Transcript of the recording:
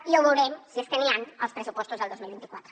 i ja ho veurem si és que n’hi han als pressupostos del dos mil vint quatre